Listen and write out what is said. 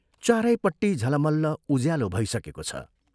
चारैपट्टि झलमल्ल उज्यालो भइसकेको छ।